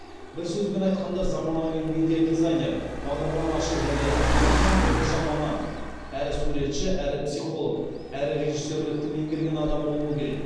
бір сөзбен айтқанда заманауи медиа дизайнер бағдарламашы және контент бойынша маман әрі суретші әрі психолог әрі режиссерлікті меңгерген адам болуы керек